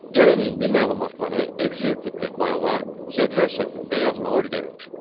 Gəlin indi məlumatları Excel tipli fayla cədvəl şəklində yazmağı öyrənək.